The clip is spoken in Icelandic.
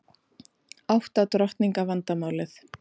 Átta drottninga vandamálið